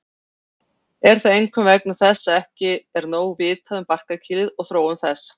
Er það einkum vegna þess að ekki er nóg vitað um barkakýlið og þróun þess.